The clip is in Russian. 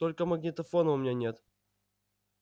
только магнитофона у меня нет